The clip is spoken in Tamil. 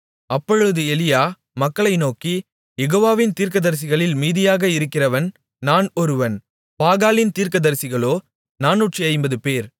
அப்பொழுது எலியா மக்களை நோக்கி யெகோவாவின் தீர்க்கதரிசிகளில் மீதியாக இருக்கிறவன் நான் ஒருவன் பாகாலின் தீர்க்கதரிசிகளோ 450 பேர்